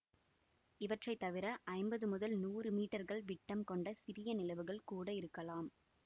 இவற்றை தவிர ஐம்பது முதல் நூறு மீட்டர்கள் விட்டம் கொண்ட சிறிய நிலவுகள் கூட இருக்கலாம்